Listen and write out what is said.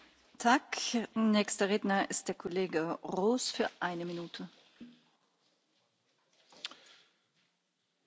Voorzitter, collega's, commissaris, vorige week presenteerde de heer Timmermans zijn Europese Green Deal.